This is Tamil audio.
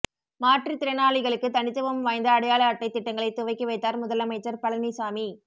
மாற்றுத் திறனாளிகளுக்கு தனித்துவம் வாய்ந்த அடையாள அட்டை திட்டங்களை துவக்கி வைத்தார் முதலமைச்சர் பழனிசாமி